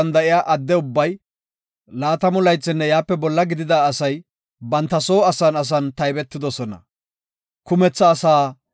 “Leewe kochata taybopa; enta attida Isra7eele asaa taybon gelsofa.